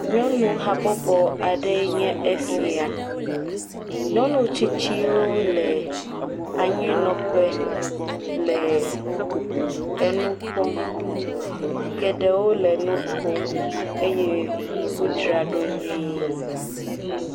Nyɔnu habobo aɖe enye esia. Nyɔnu tsitsiwo le anyinɔƒe le nu kpɔm. Geɖewo le nu kom eye wodzraɖo nyuie.